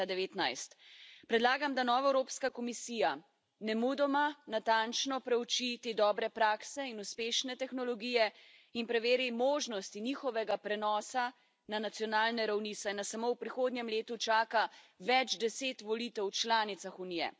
2019. Predlagam, da nova Evropska komisija nemudoma natančno preuči te dobre prakse in uspešne tehnologije in preveri možnosti njihovega prenosa na nacionalne ravni, saj nas samo v prihodnjem letu čaka več deset volitev v članicah Unije.